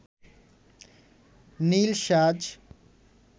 নীল সাজ